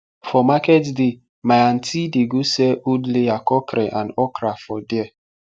for market day my antie dey go sell old layer cockrel and okra for there